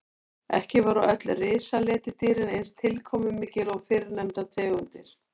Ekki voru öll risaletidýrin eins tilkomumikil og fyrrnefndar tegundir.